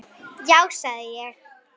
Já sagði ég.